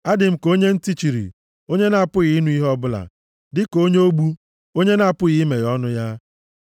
Adị m ka onye ntị chiri, onye na-apụghị ịnụ ihe ọbụla, dịka onye ogbu, onye na-apụghị imeghe ọnụ ya.